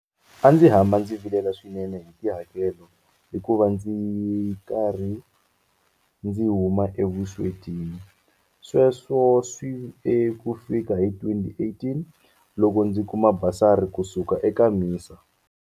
A ndzi hamba ndzi vilela swinene hi tihakelo hikuva ndzi karhi ndzi huma evuswetini. Sweswo swi ve kufika hi 2018, loko ndzi kuma basari kusuka eka MISA.